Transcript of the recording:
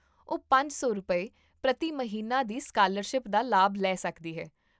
ਉਹ ਪੰਜ ਸੌ ਰੁਪਏ, ਪ੍ਰਤੀ ਮਹੀਨਾ ਦੀ ਸਕਾਲਰਸ਼ਿਪ ਦਾ ਲਾਭ ਲੈ ਸਕਦੀ ਹੈ